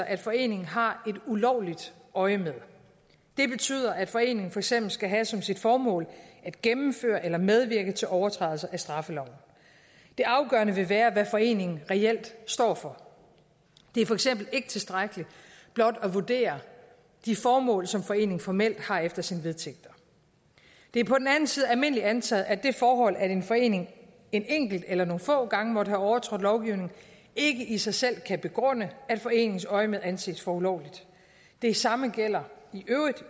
at foreningen har et ulovligt øjemed det betyder at foreningen for eksempel skal have som sit formål at gennemføre eller medvirke til overtrædelser af straffeloven det afgørende vil være hvad foreningen reelt står for det er for eksempel ikke tilstrækkeligt blot at vurdere de formål som foreningen formelt har efter sine vedtægter det er på den anden side almindeligt antaget at det forhold at en forening en enkelt eller nogle få gange har overtrådt lovgivningen ikke i sig selv kan begrunde at foreningens øjemed anses for ulovligt det samme gælder